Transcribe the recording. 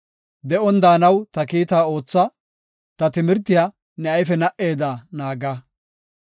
De7on daanaw ta kiita ootha; ta timirtiya ne ayfe na77eda naaga.